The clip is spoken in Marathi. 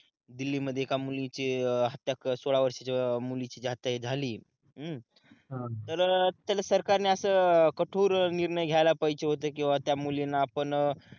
दिल्ली मध्ये एका मुलीची हत्या एक सोळा वर्षाच्या मुलीची जी हत्या हे झाली हम्म तर त्याला सरकार ने असं कठोर निर्णय घ्यायला पाहिजे होते कि बाबा त्या मुलीला आपण